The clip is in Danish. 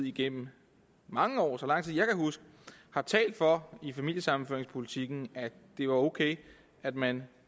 igennem mange år så lang tid jeg kan huske har talt for i familiesammenføringspolitikken at det var ok at man